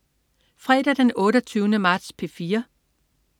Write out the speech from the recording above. Fredag den 28. marts - P4: